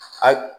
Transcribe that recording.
A